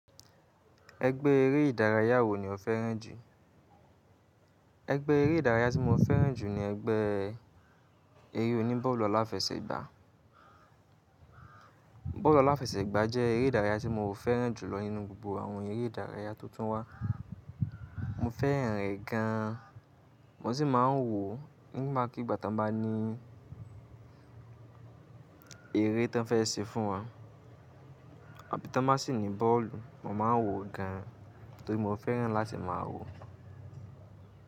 Ẹgbẹ́ eré ìdárayá wo ni o fẹ́ràn jù? Ẹgbẹ́ eré ìdárayá tí mo fẹ́ràn jù ni ẹgbẹ́ eré oní bọ́ọ̀lù aláfẹsẹ̀gbá. Bọ́ọ̀lù aláfẹsẹ̀gbá jẹ́ eré ìdárayá tí mo fẹ́ràn jù lọ nínú gbogbo àwọn eré ìdárayá tó tún wá. Mo fẹ́ràn rẹ̀ gan an, mo sì máa ń wò ó nígbàkigbà tan bá ní eré tí wọ́n fẹ́ ṣe fún wa àbí tan ba sì ní bọ́ọ̀lù. Mo máa ń wò ó gan nitorí mo fẹ́ràn láti máa wò ó.